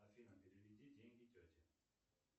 афина переведи деньги тете